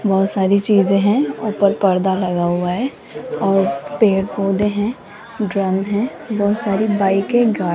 बहुत सारी चीज़ है ऊपर पर्दा लगा हुआ है और पेड़ पोधै हैं ड्रम हैं बहुत सारी बाइके गाड़ी --